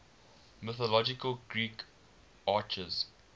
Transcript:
mythological greek archers